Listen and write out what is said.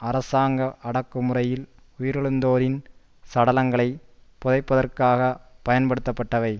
அரசாங்க அடக்குமுறையில் உயிரிழந்தோரின் சடலங்களைப் புதைப்பதற்காகப் பயன்படுத்தப்பட்டவை